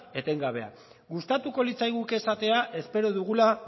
etengabeak gustatuko litzaiguke esatea espero dugula